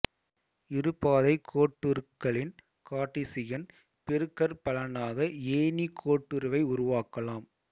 இரு பாதை கோட்டுருக்களின் கார்ட்டீசியன் பெருக்கற்பலனாக ஏணி கோட்டுருவை உருவாக்கலாம்